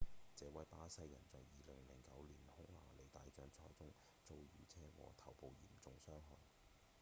這位巴西人在2009年匈牙利大獎賽中遭遇車禍頭部嚴重傷害